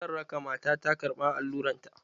Zan raka mata ta karɓan alluran ta.